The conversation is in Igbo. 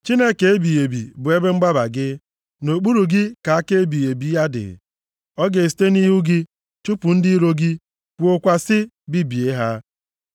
Chineke ebighị ebi bụ ebe mgbaba gị. Nʼokpuru gị ka aka ebighị ebi ya dị. Ọ ga-esite nʼihu gị chụpụ ndị iro gị, kwuokwa sị, ‘Bibie ha!’